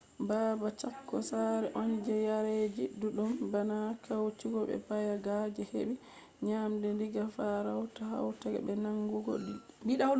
babal chako sare on je yareji ɗuɗɗum bana guaycurú be payaguá je heɓi nyamande diga farauta hautego be nangugo liɗɗi